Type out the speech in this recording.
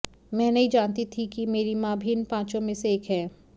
मैं नहीं जानती थी कि मेरी मां भी इन पांचों में से एक हैं